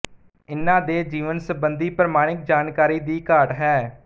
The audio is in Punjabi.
ਇਨ੍ਹਾਂ ਦੇ ਜੀਵਨ ਸਬੰਧੀ ਪ੍ਰਮਾਣਿਕ ਜਾਣਕਾਰੀ ਦੀ ਘਾਟ ਹੈ